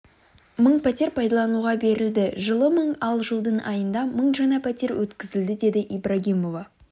мың пәтер пайдалануға берілді жылы мың ал жылдың айында мың жаңа пәтер өткізілді деді ибрагимова